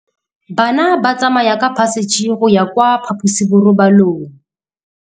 Bana ba tsamaya ka phašitshe go ya kwa phaposiborobalong.